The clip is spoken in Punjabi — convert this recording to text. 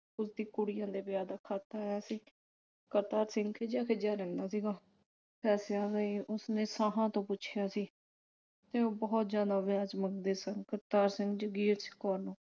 ਉਸਦੀ ਕੁੜੀਆ ਦੇ ਵਿਆਹ ਦਾ ਖਤ ਆਇਆ ਸੀ। ਕਰਤਾਰ ਸਿੰਘ ਖਿਝਿਆ ਖਿਝਿਆ ਰਹਿੰਦਾ ਸੀ ਗਾ। ਪੈਸਿਆਂ ਲਈ ਉਸਨੇ ਸਾਹਾ ਤੋਂ ਪੁੱਛਿਆ ਸੀ ਤੇ ਉਹ ਬਹੁਤ ਜਿਆਦਾ ਵਿਆਹ ਵਿਚ ਮੰਗਦੇ ਸਨ । ਕਰਤਾਰ ਸਿੰਘ ਜਗੀਰ ਕੌਰ ਨੂੰ